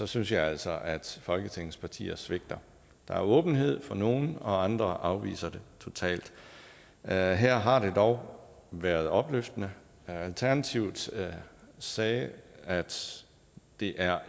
synes jeg altså at folketingets partier svigter der er åbenhed fra nogle og andre afviser det totalt her her har det dog været opløftende alternativet sagde sagde at det er